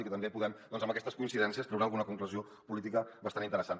i també podem doncs amb aquestes coincidències treure alguna conclusió política bastant interessant